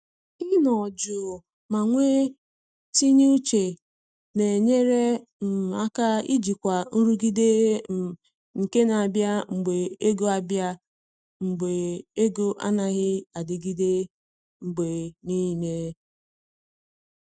Ị nọ jụụ ma nwe tinye uche na enyere um aka ijikwa nrụgide um nke na abịa mgbe ego abịa mgbe ego anaghị adịgide mgbe niile